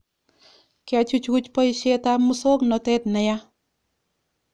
Kechuchuch boishet ab musongnotet ne ya